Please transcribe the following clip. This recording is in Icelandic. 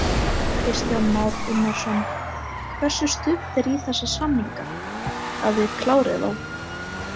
Kristján Már Unnarsson: Hversu stutt er í þessa samninga, að þið klárið þá?